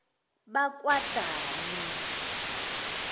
bakwadani